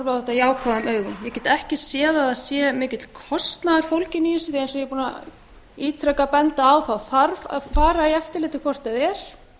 þetta jákvæðum augum ég get ekki séð að það sé mikill kostnaður fólginn í þessu því að eins og ég er búin ítrekað að benda á þarf að fara í eftirlitið hvort eð er